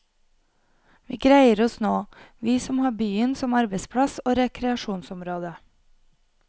Vi greier oss nå, vi som har byen som arbeidsplass og rekreasjonsområde.